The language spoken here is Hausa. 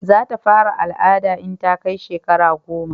za ta fara al'ada in ta kai shekara goma